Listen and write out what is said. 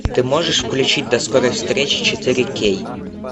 ты можешь включить до скорой встречи четыре кей